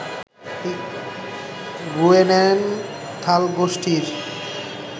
Grunenthal গোষ্ঠীর